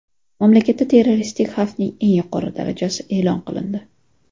mamlakatda terroristik xavfning eng yuqori darajasi e’lon qilindi.